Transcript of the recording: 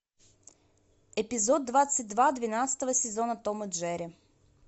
эпизод двадцать два двенадцатого сезона том и джерри